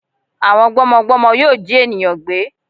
Àwọn gbọ́mọgbọ́mọ yóò jí ènìyàn gbé